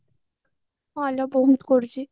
ହଁ ଲୋ ବହୁତ କରୁଛି